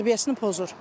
Tərbiyəsini pozur.